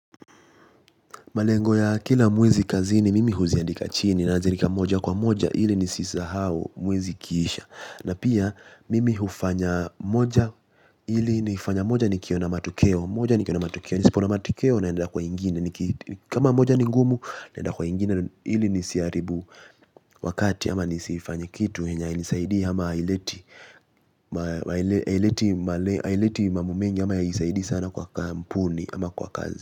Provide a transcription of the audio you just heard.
Malengo ya kila mwezi kazini, mimi huziandika chini na naziandika moja kwa moja ili nisisahau mwezi ikiisha. Na pia, mimi hufanya moja ili nifanya moja nikiwa na matokeo. Moja nikiwa na matokeo, nisipoona matokeo naenda kwa ingine. Kama moja ni ngumu, naenda kwa ingine ili nisiharibu wakati. Ama nisifanye kitu yenye hainisaidii ama haileti mambo mengi ama haisaidii sana kwa kampuni ama kwa kazi.